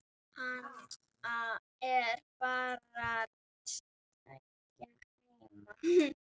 Hann er barn tveggja heima.